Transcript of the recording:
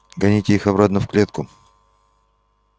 гоните их обратно в клетку